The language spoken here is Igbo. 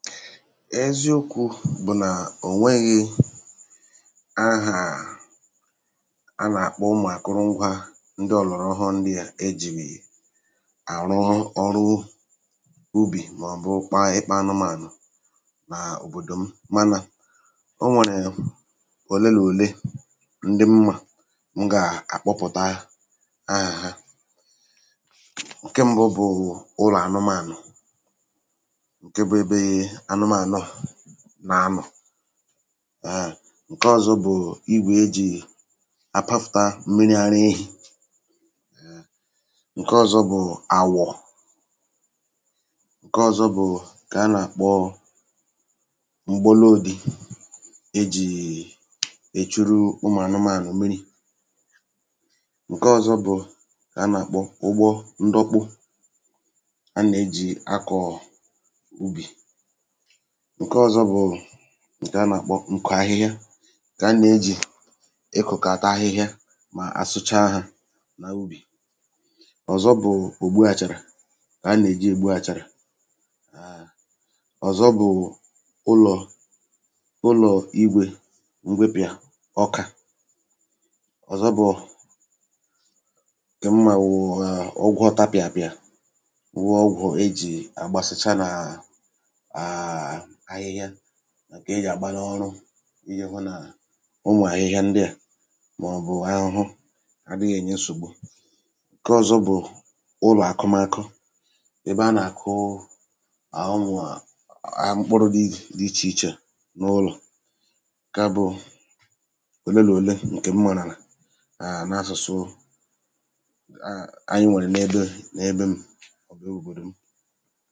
eziokwu̇ bụ̀ na ò nweghi̇ ahà a nà-àkpọ ụmụ̀ akụrụngwȧ ndị ọ̀lọ̀rọ̀ hụ ndị à e jì àrụ ọrụ ubì màọ̀bụ kpa ịkpȧ anụmànụ̀ nà òbòdò m mànà o nwèrè òle là òle ndị mà m gà àkpọpụ̀ta ahà ha ǹke mbụ bụ̀ ụlọ̀ anụmànụ̀ nà anọ̀ àà ǹke ọ̀zọ bụ̀ igwè ejì àpafùta mmiri ara ehi̇ ǹke ọ̀zọ bụ̀ àwọ̀ ǹke ọ̀zọ bụ̀ kà a nàkpọ mgboloòdi̇ e jìì èchuru ụmụ̀ anụmȧnụ̀ mmiri ǹke ọ̀zọ bụ̀ kà a nàkpọ ụgbọ ndọkpu a nà ejì akọ̀ọ̀ ǹke ọ̀zọ bụ̀ ǹke a nà-àkpọ ǹkò ahịhịa kà a nà-ejì ịkụ̀ kà ata ahịhịa mà asụcha hȧ nà ubì ọ̀zọ bụ̀ ògbu àchàrà kà a nà-èji ègbu àchàrà àà ọ̀zọ bụ̀ụ̀ ụlọ̀ ụlọ̀ igwè m̀gbèpìà ọkà ọ̀zọ bụ̀ụ̀ kè m mà wụ̀wụ̀ ọgwụ̇ ọtapị̀àpị̀à wụ ọgwụ̀ ejì àgbasịcha nà àkà ị jàgba n’ọrụ ịyekwu nà ụmụ̀ ahịhịa ndịà màọ̀bụ̀ ahụhụ adịghị ènye nsògbu ǹke ọ̀zọ bụ̀ ụlọ̀akụmakụ ebe a nà-àkụụ à ụmụ̀ à a mkpọrụ dị ichè ichè n’ụlọ̀ ǹke bụ òle là òle ǹkè m màrà àà n’asụ̀sụ anyị nwèrè n’ebe n’ebe m